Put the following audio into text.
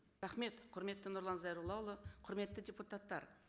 рахмет құрметті нұрлан зайроллаұлы құрметті депутаттар